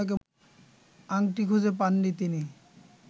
আংটি খুঁজে পাননি তিনি